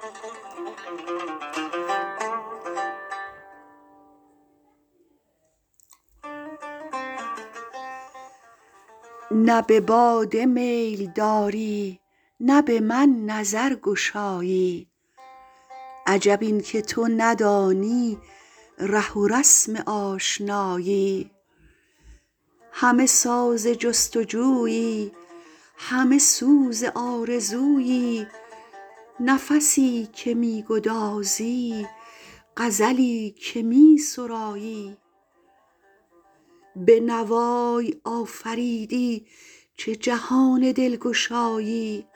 حور نه به باده میل داری نه به من نظر گشایی عجب اینکه تو ندانی ره و رسم آشنایی همه ساز جستجویی همه سوز آرزویی نفسی که میگدازی غزلی که می سرایی به نوای آفریدی چه جهان دلگشایی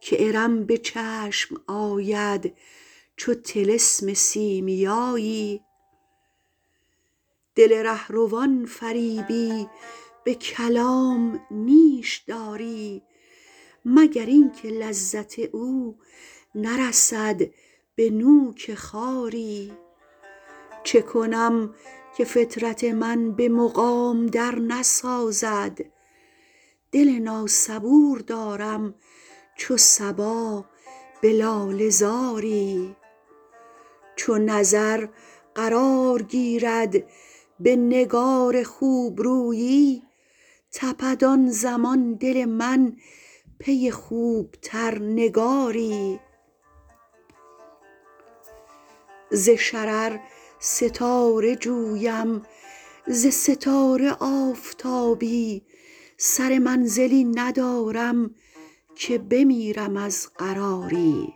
که ارم به چشم آید چو طلسم سیمیایی شاعر دل رهروان فریبی به کلام نیش داری مگر اینکه لذت او نرسد به نوک خاری چکنم که فطرت من به مقام در نسازد دل ناصبور دارم چو صبا به لاله زاری چو نظر قرار گیرد به نگار خوبرویی تپد آن زمان دل من پی خوبتر نگاری ز شرر ستاره جویم ز ستاره آفتابی سر منزلی ندارم که بمیرم از قراری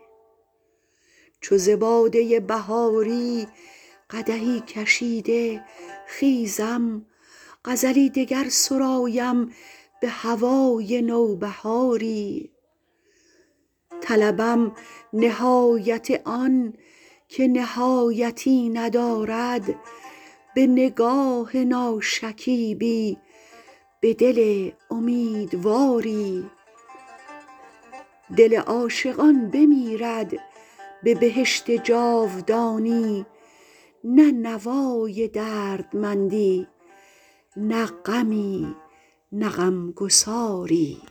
چو ز باده بهاری قدحی کشیده خیزم غزلی دگر سرایم به هوای نوبهاری طلبم نهایت آن که نهایتی ندارد به نگاه ناشکیبی به دل امیدواری دل عاشقان بمیرد به بهشت جاودانی نه نوای دردمندی نه غمی نه غمگساری